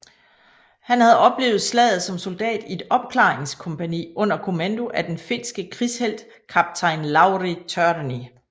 Han havde oplevet slaget som soldat i et opklaringskompagni under kommando af den finske krigshelt kaptajn Lauri Törni